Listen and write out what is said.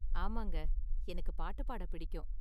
ஆமாங்க, எனக்கு பாட்டு பாட பிடிக்கும்.